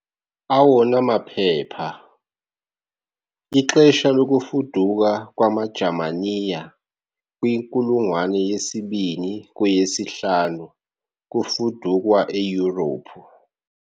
Awona maphepha- Ixesha lokufuduka kwamaJamaniya Kwinkulungwane yesibini - kweyesihlanu kufudukwa eYurophu